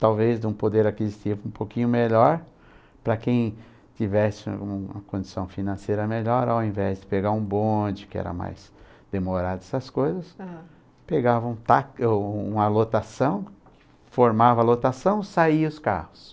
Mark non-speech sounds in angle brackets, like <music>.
talvez de um poder aquisitivo um pouquinho melhor, para quem tivesse uma uma condição financeira melhor, ao invés de pegar um bonde, que era mais demorado essas coisas, aham, pegava uma <unintelligible> uma lotação, formava a lotação, saia os carros.